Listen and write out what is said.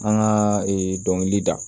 An ka ee dɔnkili da